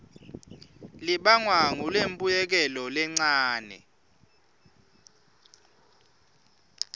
libangwa ngulembuyekelo lencane